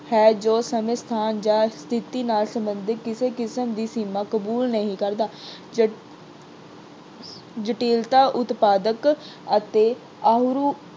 ਹੈ ਜੋ ਸਮੇਂ, ਸਥਾਨ ਜਾਂ ਸਥਿਤੀ ਨਾਲ ਸਬੰਧਿਤ ਕਿਸੇ ਕਿਸਮ ਦੀ ਸੀਮਾ ਕਬੂਲ ਨਹੀਂ ਕਰਦਾ। ਜਟਿਲਤਾ ਉਤਪਾਦਕ ਅਤੇ